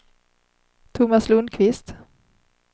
Tomas Lundquist